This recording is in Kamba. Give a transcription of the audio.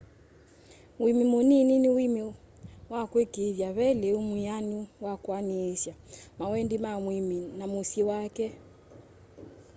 uimi muniini ni uimi wa kuikiithya ve liu mwianu wa kuaniisya mawendi ma muimi na musyi wake